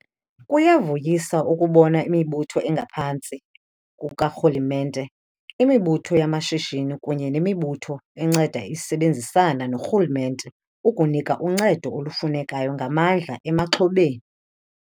Kuyavuyisa ukubona imibutho engaphantsi kukarhulumente, imibutho yamashishini kunye nemibutho enceda isebenzisana norhulumente ukunika uncedo olufunekayo ngamandla emaxhobeni.